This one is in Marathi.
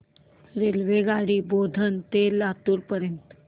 रेल्वेगाडी बोधन ते लातूर पर्यंत